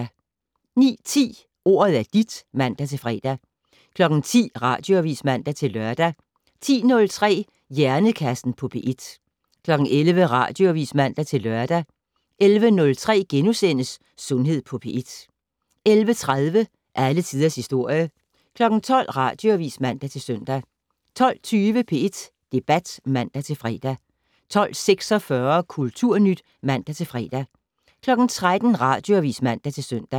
09:10: Ordet er dit (man-fre) 10:00: Radioavis (man-lør) 10:03: Hjernekassen på P1 11:00: Radioavis (man-lør) 11:03: Sundhed på P1 * 11:30: Alle tiders historie 12:00: Radioavis (man-søn) 12:20: P1 Debat (man-fre) 12:46: Kulturnyt (man-fre) 13:00: Radioavis (man-søn)